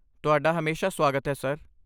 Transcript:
ਤੁਹਾਡਾ ਹਮੇਸ਼ਾ ਸੁਆਗਤ ਹੈ, ਸਰ।